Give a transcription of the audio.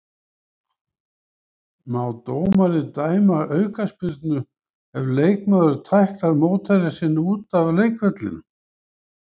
Má dómari dæma aukaspyrnu ef leikmaður tæklar mótherja sinn út af leikvellinum?